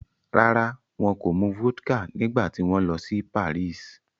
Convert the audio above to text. Rárá, wọn kò mu vodka nígbà tí wọ́n lọ sí Paris